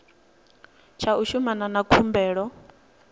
tsha u shumana na khumbelo